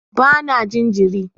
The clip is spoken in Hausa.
Ba na jin jiri